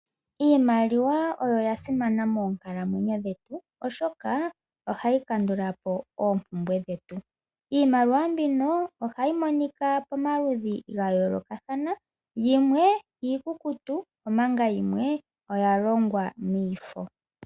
Iimaliwa oya simana moonkalamwenyo dhetu, oshoka ohayi kandulapo oompumbwe dhetu. Iimaliwa mbino ohayi monika pamaludhi gayoolokathana, yimwe iikukutu, omanga yimwe oya longwa miifo.